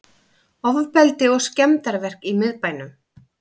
Ofbeldi og skemmdarverk í miðbænum